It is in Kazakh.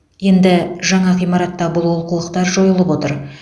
енді жаңа ғимаратта бұл олқылықтар жойылып отыр